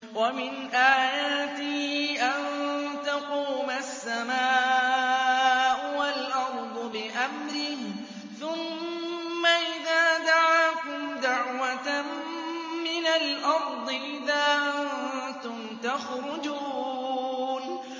وَمِنْ آيَاتِهِ أَن تَقُومَ السَّمَاءُ وَالْأَرْضُ بِأَمْرِهِ ۚ ثُمَّ إِذَا دَعَاكُمْ دَعْوَةً مِّنَ الْأَرْضِ إِذَا أَنتُمْ تَخْرُجُونَ